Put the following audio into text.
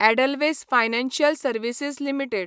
Edelweiss financial services limited